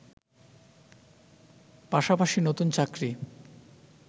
পাশাপাশি নতুন চাকরি